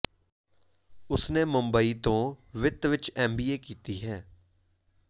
ਉਸਨੇ ਮੁੰਬਈ ਤੋਂ ਵਿੱਤ ਵਿੱਚ ਐਮ ਬੀ ਏ ਕੀਤੀ ਹੈ